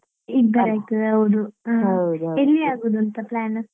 ಇಬ್ಬರೇ ಆಗ್ತದೆ ಹೌದು. ಎಲ್ಲಿ ಆಗುದು ಅಂತ plan ?